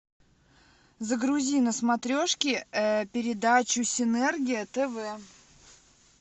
загрузи на смотрешке передачу синергия тв